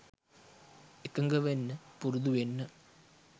එකඟ වෙන්න පුරුදු වෙන්න